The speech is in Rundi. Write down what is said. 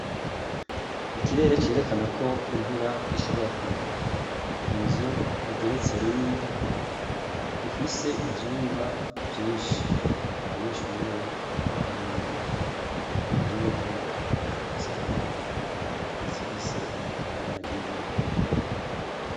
Ikirere cerekana ko imvura ishobora kukwa inzu igeretse rimwe ifise ivyumba vyinshi abanyeshure bambaye impuzu zera nrizifise ibara ry'umuhondo.